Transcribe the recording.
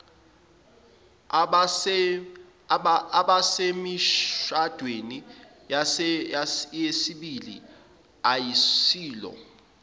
abasemishadweni yesibili ayisilo